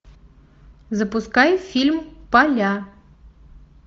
запускай фильм поля